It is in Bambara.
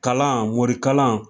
Kalan morikalan